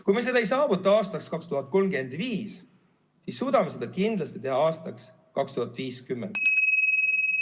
Kui me seda ei saavuta aastaks 2035, siis suudame seda kindlasti teha aastaks 2050.